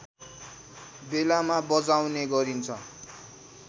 बेलामा बजाउने गरिन्छ